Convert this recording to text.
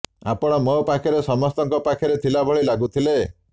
ଆପଣ ମୋ ପାଖରେ ସମସ୍ତଙ୍କ ପାଖରେ ଥିଲା ଭଳି ଲାଗୁଥିଲେ